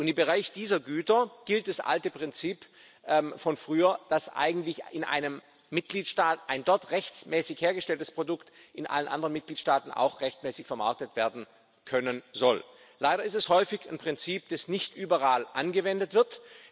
Und im Bereich dieser Güter gilt das alte Prinzip von früher, dass eigentlich ein in einem Mitgliedstaat rechtmäßig hergestelltes Produkt in allen anderen Mitgliedstaaten auch rechtmäßig vermarktet werden können soll. Leider ist das häufig ein Prinzip, das nicht überall angewendet wird.